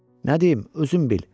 Nə deyim, özün bil.